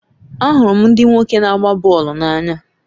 Ahụrụ m ndị nwoke na-agba bọọlụ n'anya